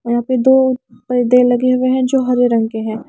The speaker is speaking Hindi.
यहाँ पे दो पर्दे लगे हुए हैं जो हरे रंग के हैं।